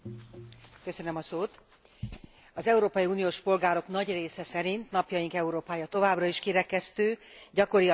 Az európai uniós polgárok nagy része szerint napjaink Európája továbbra is kirekesztő, gyakori a megkülönböztetés valamilyen formája.